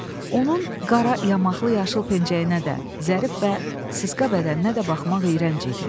Onun qara yamaqlı, yaşıl pencəyinə də, zərif və sısqa bədəninə də baxmaq iyrənc idi.